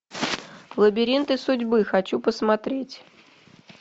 лабиринты судьбы хочу посмотреть